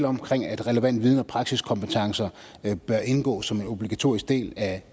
omkring at relevant viden og praksiskompetencer bør indgå som en obligatorisk del af